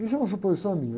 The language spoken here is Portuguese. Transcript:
Isso é uma suposição minha.